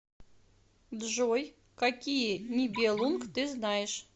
джой какие нибелунг ты знаешь